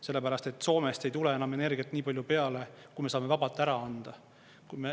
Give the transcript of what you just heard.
Sellepärast et Soomest ei tule enam energiat nii palju peale, kui me saame vabalt ära anda.